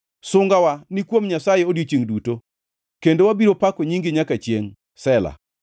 Sungawa ni kuom Nyasaye odiechiengʼ duto, kendo wabiro pako nyingi nyaka chiengʼ. Sela + 44:8 Sela tiend wachni ok ongʼere.